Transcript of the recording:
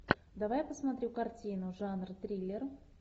давай посмотрю картину жанр триллер